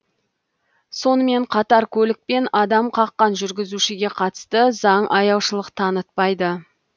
сонымен қатар көлікпен адам қаққан жүргізушіге қатысты заң аяушылық танытпайды